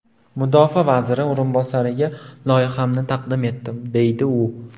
Mudofaa vaziri o‘rinbosariga loyihamni taqdim etdim, deydi u.